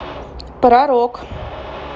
про рок